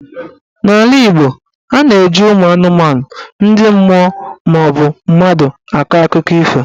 N'ala Igbo, a na-eji ụmụ anụmanụ, ndị mmụọ maọbụ mmadụ akọ akụkọ ifo.